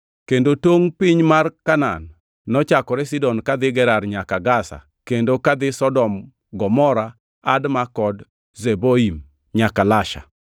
kendo tongʼ piny mar Kanaan nochakore Sidon kadhi Gerar nyaka Gaza kendo kadhi Sodom, Gomora, Adma kod Zeboim nyaka Lasha.)